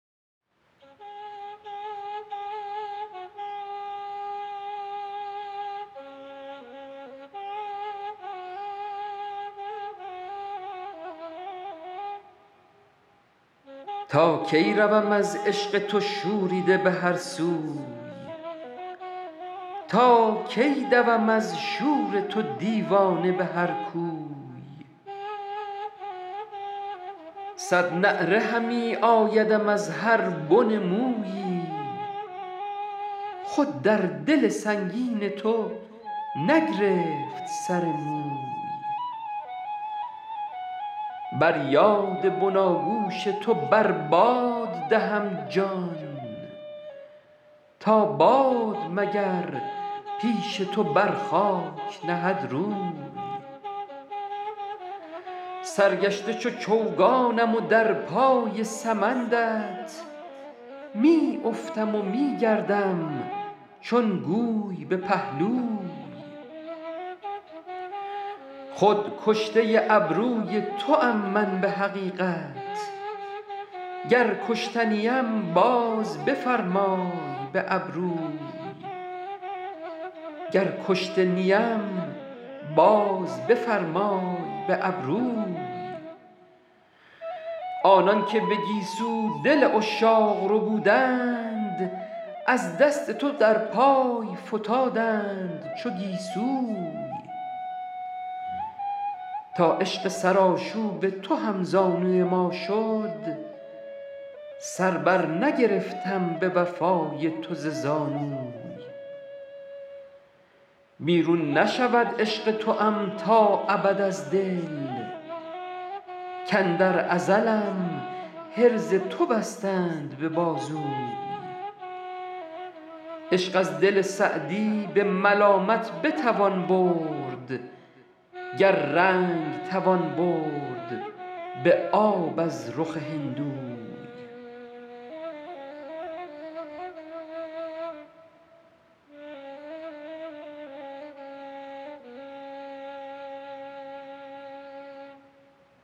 تا کی روم از عشق تو شوریده به هر سوی تا کی دوم از شور تو دیوانه به هر کوی صد نعره همی آیدم از هر بن مویی خود در دل سنگین تو نگرفت سر موی بر یاد بناگوش تو بر باد دهم جان تا باد مگر پیش تو بر خاک نهد روی سرگشته چو چوگانم و در پای سمندت می افتم و می گردم چون گوی به پهلوی خود کشته ابروی توام من به حقیقت گر کشته نیم باز بفرمای به ابروی آنان که به گیسو دل عشاق ربودند از دست تو در پای فتادند چو گیسوی تا عشق سرآشوب تو هم زانوی ما شد سر بر نگرفتم به وفای تو ز زانوی بیرون نشود عشق توام تا ابد از دل کاندر ازلم حرز تو بستند به بازوی عشق از دل سعدی به ملامت بتوان برد گر رنگ توان برد به آب از رخ هندوی